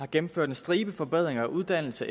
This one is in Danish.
gennemført en stribe forbedringer af uddannelse